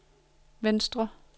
venstre